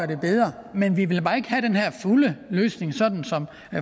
det bedre men vi vil bare ikke have den her fulde løsning sådan som